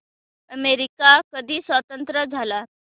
America कधी स्वतंत्र झाला